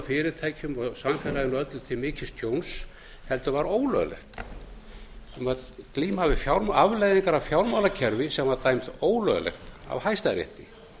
fyrirtækjum og samfélaginu öllu til mikils tjóns heldur var ólöglegt við vorum að glíma við afleiðingar af fjármálakerfi sem var dæmt ólöglegt af hæstarétti